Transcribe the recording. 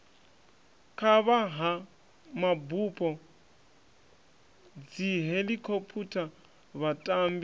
kavha ha mabupo dzihelikhophutha vhatambi